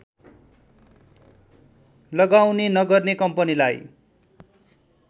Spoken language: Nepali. लगाउने नगर्ने कम्पनीलाई